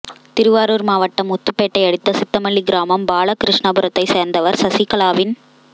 திருவாரூர் மாவட்டம் முத்துப்பேட்டை அடுத்த சித்தமல்லி கிராமம் பாலகிருஷ்ணபுரத்தை சேர்ந்தவர் சசிகலாவின்